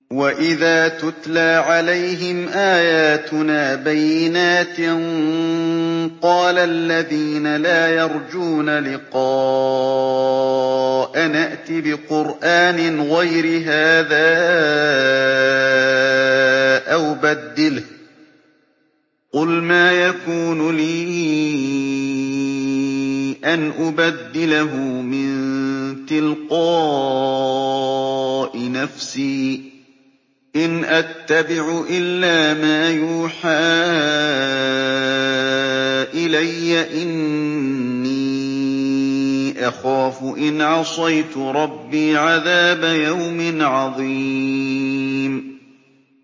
وَإِذَا تُتْلَىٰ عَلَيْهِمْ آيَاتُنَا بَيِّنَاتٍ ۙ قَالَ الَّذِينَ لَا يَرْجُونَ لِقَاءَنَا ائْتِ بِقُرْآنٍ غَيْرِ هَٰذَا أَوْ بَدِّلْهُ ۚ قُلْ مَا يَكُونُ لِي أَنْ أُبَدِّلَهُ مِن تِلْقَاءِ نَفْسِي ۖ إِنْ أَتَّبِعُ إِلَّا مَا يُوحَىٰ إِلَيَّ ۖ إِنِّي أَخَافُ إِنْ عَصَيْتُ رَبِّي عَذَابَ يَوْمٍ عَظِيمٍ